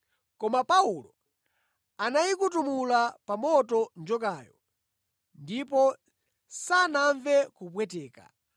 Koma Paulo anayikutumulira pa moto njokayo, ndipo sanamve kupweteka.